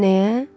Ceyhunəyə?